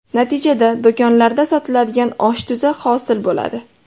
Natijada do‘konlarda sotiladigan osh tuzi hosil bo‘ladi.